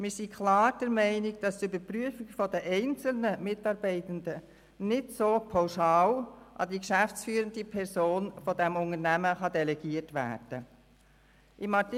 Wir sind klar der Meinung, dass die Überprüfung der einzelnen Mitarbeitenden nicht pauschal an die geschäftsführende Person des Unternehmens delegiert werden kann.